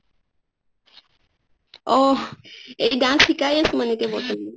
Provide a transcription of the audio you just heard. অহ dance শিকাইয়ে আছো মানে এতিয়া বৰ্তমান